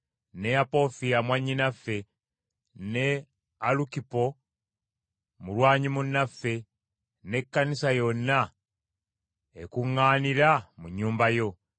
ne Apofiya mwannyinaffe, ne Alukipo mulwanyi munnaffe, n’Ekkanisa yonna ekuŋŋaanira mu nnyumba yo.